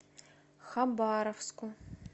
хабаровску